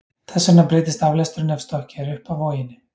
Þess vegna breytist aflesturinn ef stokkið er upp af voginni.